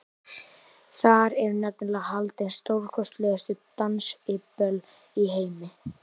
Þar eru nefnilega haldin stórkostlegustu dansiböll í heimi.